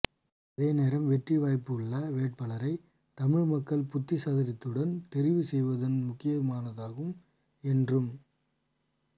அதேநேரம் வெற்றி வாய்ப்பு உள்ள வேட்பாளரைத் தமிழ் மக்கள் புத்தி சாதுர்யத்துடன் தெரிவு செய்வதும் முக்கியமானதாகும் என்றும்